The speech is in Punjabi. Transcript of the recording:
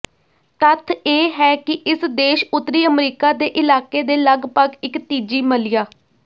ਤੱਥ ਇਹ ਹੈ ਕਿ ਇਸ ਦੇਸ਼ ਉੱਤਰੀ ਅਮਰੀਕਾ ਦੇ ਇਲਾਕੇ ਦੇ ਲਗਭਗ ਇੱਕ ਤੀਜੀ ਮੱਲਿਆ